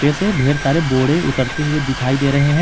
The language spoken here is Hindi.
एसे ढेर सारे बोड़े उतरते हुए दिखाई दे रहे हैं।